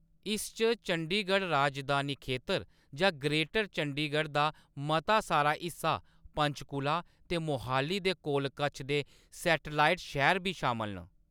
इस च चंडीगढ़ राजधानी खेतर जां ग्रेटर चंडीगढ़ दा मता सारा हिस्सा, पंचकुला ते मोहाली दे कच्छ-कोल दे सैटेलाईट शैह्‌र बी शामल न।